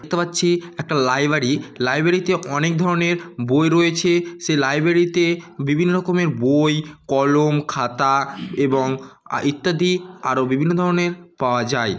দেখতে পাচ্ছি একটা লাইব্রারি । লাইব্রেরী -তে অনেক ধরনের বই রয়েছে। সে লাইব্রেরী -তে বিভিন্ন রকমের বই কলম খাতা এবং ইত্যাদি আরও বিভিন্ন ধরনের পাওয়া যায়।